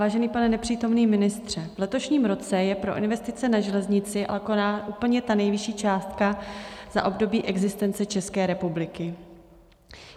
Vážený pane nepřítomný ministře, v letošním roce je pro investice na železnice alokována úplně ta nejvyšší částka za období existence České republiky.